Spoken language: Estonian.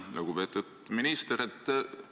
Lugupeetud minister!